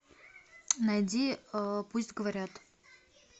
найди пусть говорят